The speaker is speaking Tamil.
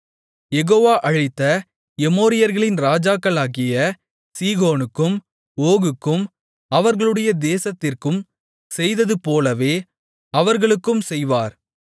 யெகோவா அழித்த எமோரியர்களின் ராஜாக்களாகிய சீகோனுக்கும் ஓகுக்கும் அவர்களுடைய தேசத்திற்கும் செய்ததுபோலவே அவர்களுக்கும் செய்வார்